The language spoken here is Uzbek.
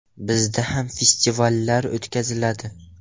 – Bizda ham festivallar o‘tkaziladi.